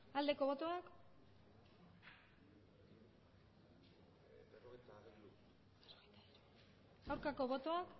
aldeko botoak aurkako botoak